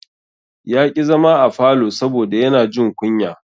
Ya ƙi zama a falo saboda yana jin kunya.